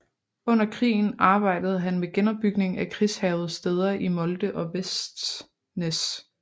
Under krigen arbejdede han med genopbygning af krigshærgede steder i Molde og Vestnes